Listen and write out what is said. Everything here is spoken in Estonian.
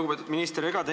Lugupeetud minister!